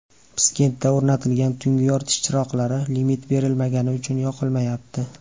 Piskentda o‘rnatilgan tungi yoritish chiroqlari limit berilmagani uchun yoqilmayapti.